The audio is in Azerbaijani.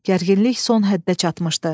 Gərginlik son həddə çatmışdı.